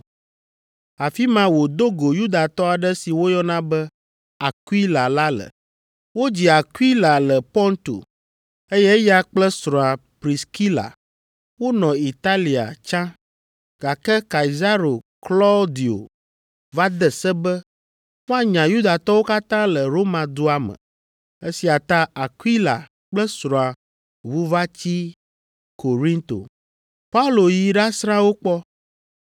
Afi ma wòdo go Yudatɔ aɖe si woyɔna be Akwila la le. Wodzi Akwila le Ponto, eye eya kple srɔ̃a Priskila wonɔ Italia tsã, gake Kaisaro Klaudio va de se be woanya Yudatɔwo katã le Roma dua me. Esia ta Akwila kple srɔ̃a ʋu va tsi Korinto. Paulo yi ɖasrã wo kpɔ,